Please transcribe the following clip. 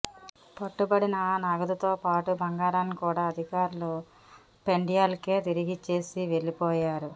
పట్టుబడిన ఆ నగదుతో పాటు బంగారాన్ని కూడా అధికారులు పెండ్యాలకే తిరిగిచ్చేసి వెళ్లిపోయారు